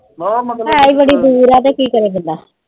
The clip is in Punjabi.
ਹੈ ਬੜੀ ਦੂਰ ਆ ਤੇ ਕੀ ਕਰੇ ਬੰਦਾ।